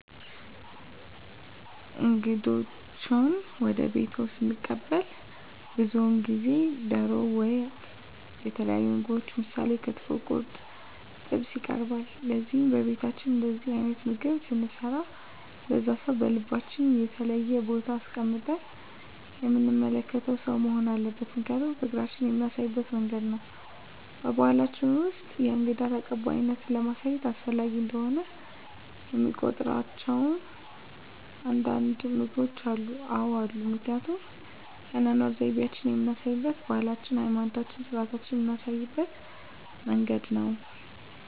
እንግዶችዎን ወደ ቤትዎ ስንቀበል ብዙውን ጊዜ ደሮ ወጥ የተለያዩ ምግቦች ምሳሌ ክትፎ ቁርጥ ጥብስ ይቀርባል ለዚህም በቤታችን እንደዚህ አይነት ምግብ ስንሰራ ለዛ ሰው በልባችን የተለየ ቦታ አስቀምጠን የምንመለከተው ሰው መሆን አለበት ምክንያቱም ፍቅራችን የምናሳይበት መንገድ ነው በባሕላችን ውስጥ የእንግዳ ተቀባይነትን ለማሳየት አስፈላጊ እንደሆነ የሚቆጥሯቸው አንዳንድ ምግቦች አሉ? አዎ አሉ ምክንያቱም የአኗኗር ዘይቤአችንን የምናሳይበት ባህላችንን ሀይማኖታዊ ስርአቶቻችንን ምናሳይበት መንገድ ነው